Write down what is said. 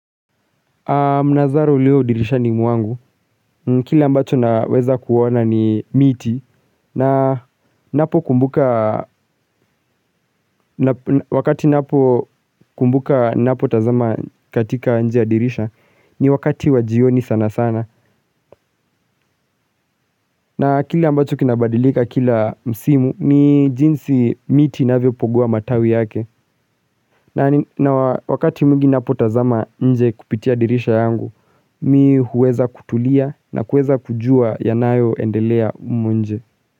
Mnazaro ulio dirisha ni mwangu, kila ambacho naweza kuona ni miti na napo kumbuka wakati napo kumbuka napo tazama katika njia dirisha ni wakati wajioni sana sana na kila ambacho kinabadilika kila msimu ni jinsi miti na inavyopogua matawi yake na wakati mungi napotazama nje kupitia dirisha yangu, mi huweza kutulia na huweza kujua yanayo endelea humu nje.